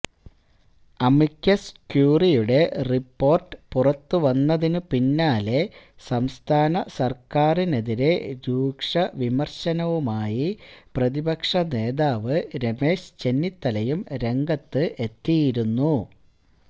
amicus ക്യൂറിയുടെ report പുറത്തുവന്നതിന് പിന്നാലെ സംസ്ഥാന സര്ക്കാറിനെതിരെ രൂക്ഷവിമര്ശനവുമായി പ്രതിപക്ഷ നേതാവ് രമേശ് ചെന്നിത്തലയും രംഗത്ത് എത്തിയിരുന്നു